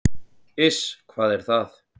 """Iss, hvað er það?"""